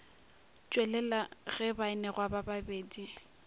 tšwelela ge baanegwa ba babedi